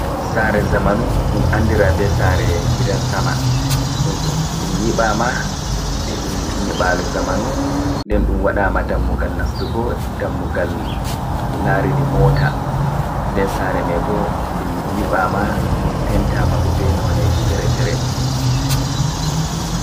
Sare zamanu ɗum andira be sare gidan-sama. Ɗum nyiɓama be ɗum nyibalu zamanu. Nden ɗum waɗama dammugal nastugo, dammugal larini mota. Nden sare mai bo nde nyiɓama, ɗum pentama bo be noneji fere-fere.